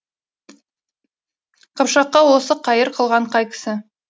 қыпшаққа осы қайыр қылған қай кісі